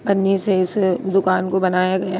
पन्नी से इस दुकान को बनाया गया --